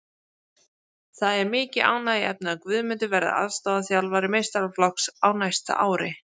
Það er mikið ánægjuefni að Guðmundur verði aðstoðarþjálfari meistaraflokks á næsta ári.